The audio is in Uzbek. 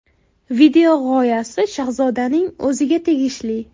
Video g‘oyasi Shahzodaning o‘ziga tegishli.